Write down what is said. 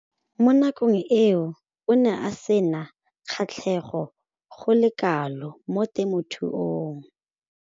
Mo nakong eo o ne a sena kgatlhego go le kalo mo temothuong.